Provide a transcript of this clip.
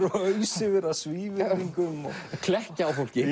ausa yfir það svívirðingum klekkja á fólki